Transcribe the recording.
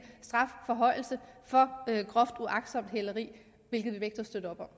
strafforhøjelse for groft uagtsomt hæleri hvilket vi begge støtter